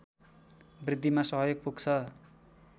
वृद्धिमा सहयोग पुग्छ